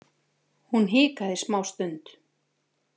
Hún hikaði smástund.